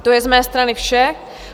To je z mé strany vše.